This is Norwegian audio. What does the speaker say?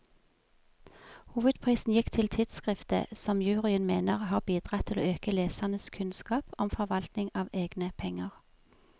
Hovedprisen gikk til tidskriftet, som juryen mener har bidratt til å øke lesernes kunnskap om forvaltning av egne penger.